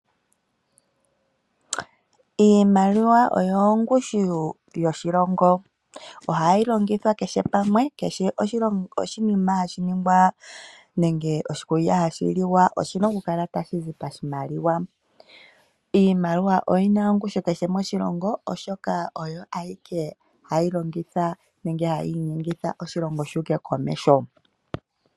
Iimaliwa oyo ongushu yoshilongo. Ohayi longithwa kehe pamwe, kehe oshinima hashi ningwa nenge oshikulya hashi liwa oshi na okukala tashi landwa noshimaliwa. Iimaliwa oyi na ongushu kehe moshilongo, oshoka oyo eike hayi humitha oshilongo komeho.